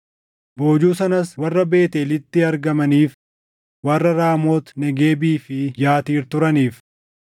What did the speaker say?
Boojuu sanas warra Beetʼeelitti argamaniif, warra Raamoot Negeebii fi Yatiir turaniif,